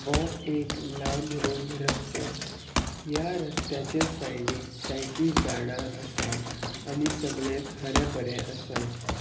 वो एक लांब रुंध रस्तो ह्या रस्त्याच्या सायडीक जायती झाडा असा आनी सगलेच हरे भरे आसा.